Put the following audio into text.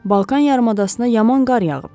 Balkan yarımadasına yaman qar yağıb.